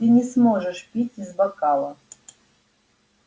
ты не сможешь пить из бокала